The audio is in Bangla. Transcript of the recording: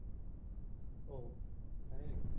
ওহ হম